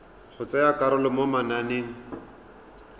go tsaya karolo mo mananeng